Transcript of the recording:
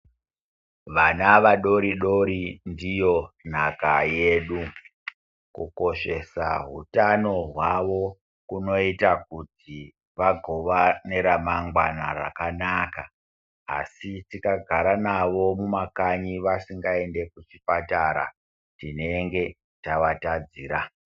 Vana vadoridori ndiyo nhaka yedu. Kukoshesa hutano hwavo kunoita kuti vagova neramangwana rakanaka. Asi tikagara navo mumakanyi vasingainde kuchipatara tinenge tavatadzira.